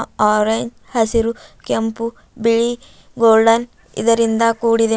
ಆರೇನ್ ಹಸಿರು ಕೆಂಪು ಬಿಳಿ ಗೋಲ್ಡನ್ ಇದರಿಂದ ಕೂಡಿದೆ.